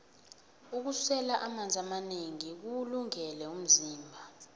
ukusela amanzi amanengi kuwulungele umzimba